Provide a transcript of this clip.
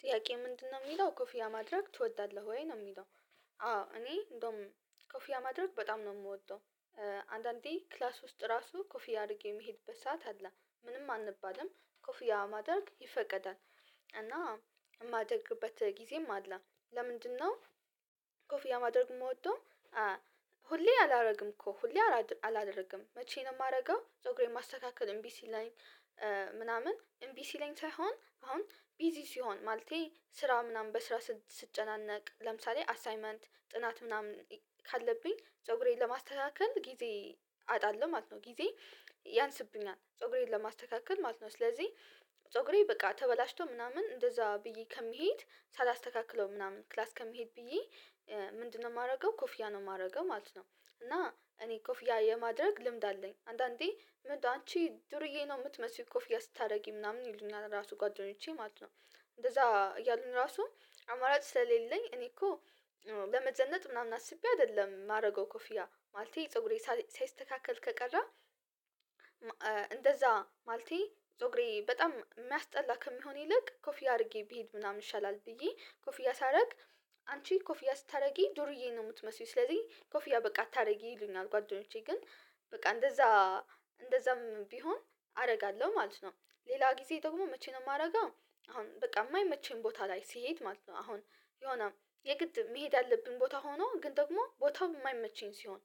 ጥያቄ ምንድነው የሚለው ኮፊያ ማድረግ ትወዳለህ ወይ ነው የሚለው። አዎ እኔ እንደውም ኮፊያ ማድረግ በጣም ነው የምወደው። አንዳንዴ ክላስ ውስጥ ራሱ ኮፍያ አድርጌ የሚሄድበት ሰዓት አለ። ምንም አንባልም ኮፊያ ማድረግ ይፈቀዳል። እና የማደርግበት ጊዜም አለ። ለምንድነው ኮፍያ ማድረግ የምወደው ሁሌ አላደርግም እኮ። ሁሌ አላደርግም። መቼ ነው የማደርገው ጾግሬን ማስተካከል እምቢ ሲለኝ ምናምን እምቢ ሲለኝ ሳይሆን አሁን ቢዚ ስሆን ማለቴ ስራ ምናምን በስራ ስትጨናነቅ ለምሳሌ አሳይመንት ጥናት ምናምን ካለብኝ ፀጉሬን ለማስተካከል ጊዜ አጣለሁ ማለት ነው። ጊዜ ያንስብኛል። ፀጉሬን ለማስተካከል ማለት ነው። ስለዚህ ፀጉሬ በቃ ተበላሽቶ ምናምን እንደዛ ብዬ ከምሄድ ሳላስተካክለው ምናምን ክላስ ከመሄድ ብዬ ምንድነው የማደርገው ኮፍያ ነው የማደርገው ማለት ነው። እና እኔ ኮፍያ የማድረግ ልምድ አለኝ። አንዳንዴ ምን አንቺ ዱርዬ ነው የምትመስይው ኮፍዬ ስታደርጊ ምናምን ይሉኛል ራሱ ጓደኞቼ ማለት ነው። እንደዛ እያሉን ራሱ አማራጭ ስለሌለኝ እኔ እኮ ለመዘነጥ ምናምን አስቤ አይደለም የማደርገው ኮፍያ ማለቴ ፀጉሬ ሳይስተካከል ከቀረ እንደዛ ማለቴ ጾግሬ በጣም የሚያስጠላ ከሚሆን ይልቅ ኮፍያ አድርጌ ብሄድ ምናምን ይሻላል ብዬ ኮፍያ ሳደርግ አንቺ ኮፊያ ስታደርጊ ዱርዬ ነው የምትመስዪው ስለዚህ ኮፍያ በቃ አታደርጊ ይሉኛል ጓደኞቼ ግን በቃ እንደዛ እንደዛም ቢሆን አደርጋለሁ ማለት ነው። ሌላ ጊዜ ደግሞ መቼ ነው የማደርገው አሁን በቃ የማይመቸኝ ቦታ ላይ ስሄድ ማለት ነው አሁን የሆነ የግድ መሄድ አለብኝ ቦታ ሆኖ ግን ደግሞ ቦታው የማይመቸኝ ሲሆን